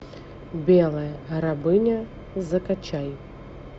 белая рабыня закачай